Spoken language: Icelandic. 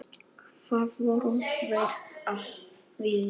Hvað voru þeir að vilja?